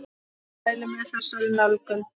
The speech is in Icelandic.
Mæli með þessari nálgun!